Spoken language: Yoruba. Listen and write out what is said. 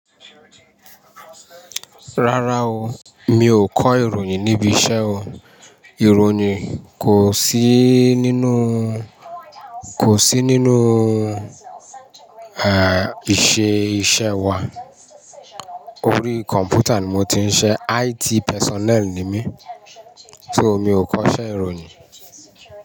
Rárá o, mi ò kọ́ ìròyìn níbi iṣẹ́ o. Ìròyìn kò sí nínú, kò sí nínú, eh, iṣẹ́ iṣẹ́ wa. Orí kọ̀m̀pútà ni mo ti ń siṣe, IT personnel ni mí. So mi ò kọ́ṣẹ́ ìròyìn.